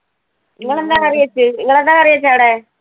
നിങ്ങൾ എന്താ കറി വെച്ചേ? നിങ്ങൾ എന്താ കറി വെച്ചേ അവിടെ?